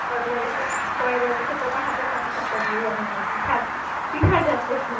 পরেরবার এসে পরেরবার তোমার হাতের পাটিসাপটা দিয়েই আমি আমার পিঠার পিঠার যাত্রা শুরু